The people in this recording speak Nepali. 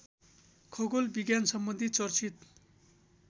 खगोल विज्ञानसम्बन्धी चर्चित